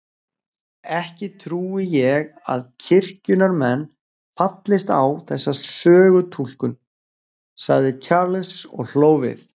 Ekki trúi ég að kirkjunnar menn fallist á þessa sögutúlkun, sagði Charles og hló við.